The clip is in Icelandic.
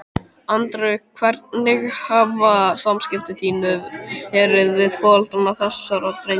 Andri: Hvernig hafa samskipti þín verið við foreldra þessara drengja?